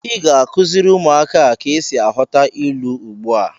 Ị ga-akụziri ụmụaka a ka esi aghọta ilu ugbu a!